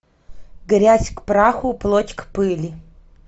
грязь к праху плоть к пыли